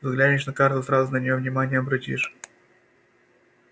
взглянешь на карту сразу на неё внимание обратишь